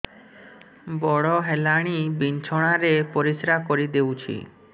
ବଡ଼ ହେଲାଣି ବିଛଣା ରେ ପରିସ୍ରା କରିଦେଉଛି